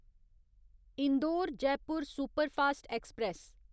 Indore Jaipur superfast express